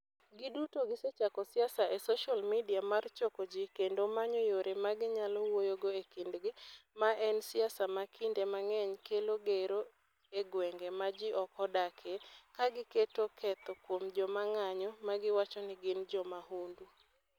Giduto gisechako siasa e social media mar choko ji kendo manyo yore ma ginyalo wuoyogo e kindgi, ma en siasa ma kinde mang'eny kelo gero e gwenge ma ji ok odakie, ka giketo ketho kuom joma ng'anyo ma giwacho ni gin jo mahundu.